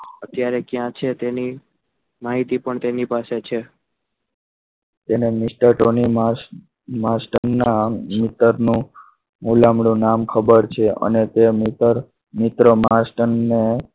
અત્યારે ક્યાં છે તેની માહિતી પણ તેમની પાસે છે તેને master ના મિત્રનો ભુલામણું નામ ખબર છે અને તે મિત્ર મિત્ર master ને